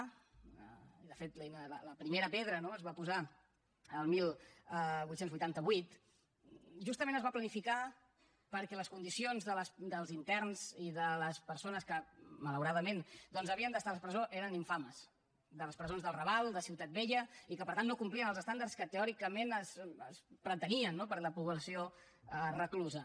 de fet la primera pedra no es va posar el divuit vuitanta vuit justament es va planificar perquè les condicions dels interns i de les persones que malauradament doncs havien d’estar a les presons eren infames de les presons del raval de ciutat vella i que per tant no complien els estàndards que teòricament es pretenien per a la població reclusa